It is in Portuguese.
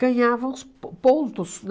ganhavam os po pontos,